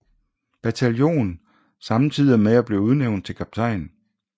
Bataljon samtidig med at blive udnævnt til kaptajn